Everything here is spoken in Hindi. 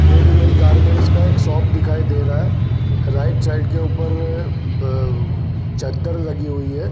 रेडी मेंट गारमेंट का एक शॉप दिखाई दे रहा है राईट साइड के उपर ब चदर लगी हुई है।